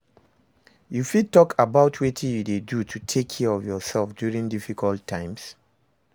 You fit talk about wetin you dey do to take care of yourself during difficult times?